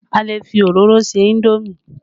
A lè fi òróró se indomi